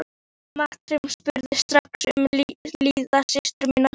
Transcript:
Marteinn spurði strax um líðan systur sinnar.